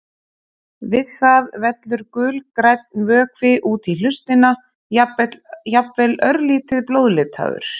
Við það vellur gulgrænn vökvi út í hlustina, jafnvel örlítið blóðlitaður.